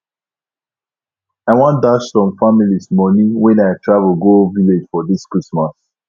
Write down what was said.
i wan dash some families money wen i travel go village for dis christmas